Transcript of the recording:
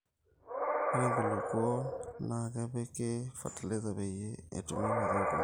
ore nkulupuok naa kepiki fertiliser peyie etumii mazao kumok